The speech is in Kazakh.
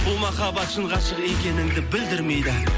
бұл махабат шын ғашық екенінді білдірмейді